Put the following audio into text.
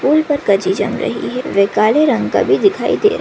Pool पर काजी जम रही है वह काले रंग का भी दिखाई दे रहा है।